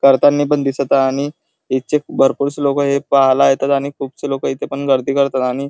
करतानी पण दिसत आहे आणि इच्छिक भरपूर शी लोक हे पाहायला येतात आणि खूपशी लोक इथ गर्दी पण करतात आणि--